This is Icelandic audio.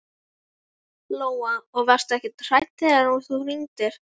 Lóa: Og varstu ekkert hrædd þegar þú hringdir?